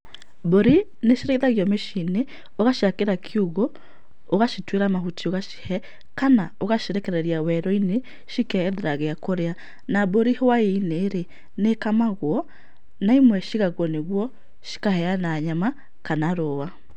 Mbũri nĩ cirĩithagio mĩcii-inĩ, ũgaciakĩra kiugũ ũgacituĩra mahuti ũgacihe kana ũgacirekereria werũ-inĩ cikeethera gĩa kũrĩa. Na mbũri hwai-inĩ rĩ, nĩ ĩkamagwo na imwe ciigagwo nĩguo cikaheana nyama kana rũũa.